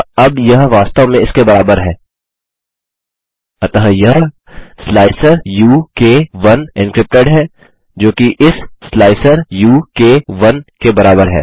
अतः अब यह वास्तव में इसके बराबर है अतः यह स्लाइसर उ क 1 एन्क्रिप्टेड है जोकि इस स्लाइसर उ क 1 के बराबर है